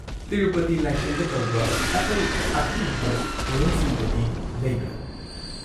ꯇꯤꯔꯨꯄꯇꯤ ꯂꯥꯏꯁꯪꯗ ꯇꯧꯕ ꯑꯇꯩ ꯑꯈꯟꯅꯕ ꯊꯧꯔꯝꯁꯤꯡꯒꯗꯤ ꯂꯩꯕ꯭ꯔꯥ?